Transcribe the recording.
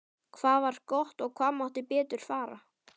Hvað var gott og hvað mátti betur fara?